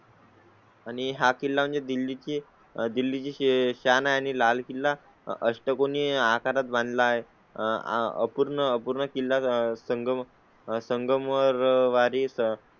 आणि हा किल्ला म्हणजे दिल्ली ते दिल्ली चेच आणि लाल किल्ला अष्टकोनी आकारात बांधला आहे. आह पूर्ण पूर्ण किल्ला संगम संगम वर वारिस